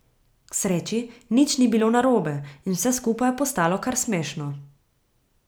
K sreči nič ni bilo narobe in vse skupaj je postalo kar smešno.